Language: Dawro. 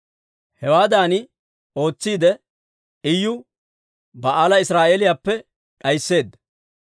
Hewaadan ootsiide, Iyu Ba'aala Israa'eeliyaappe d'aysseedda.